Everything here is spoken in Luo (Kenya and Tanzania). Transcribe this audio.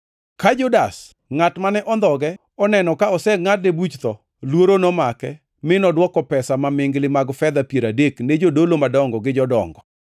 Ka Judas, ngʼat mane ondhoge oneno ka osengʼadne Yesu buch tho, luoro nomake mi nodwoko pesa mamingli mag fedha piero adek ne jodolo madongo gi jodongo,